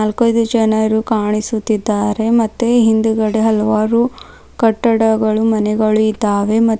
ನಾಕೈದು ಜನರು ಕಾಣಿಸುತ್ತಿದ್ದಾರೆ ಮತ್ತೆ ಹಿಂದ್ಗಡೆ ಹಲವಾರು ಕಟ್ಟಡಗಳು ಮನೆಗಳು ಇದ್ದಾವೆ ಮ--